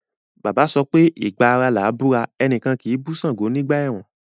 Bàbá sọpé “ ìgba ara làá búra, ẹnìkan kì í bú ṣàngó nígbà ẹ̀rùn”.